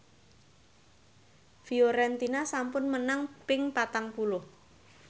Fiorentina sampun menang ping patang puluh